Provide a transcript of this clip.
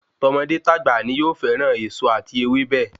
Tọmọdé tagba ni yóò fẹràn èso ati ewébẹ̀